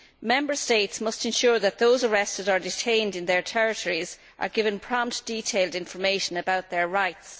Member States must ensure that those arrested or detained in their territories are given prompt, detailed information about their rights.